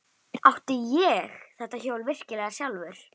Átti ég þetta hjól virkilega sjálfur?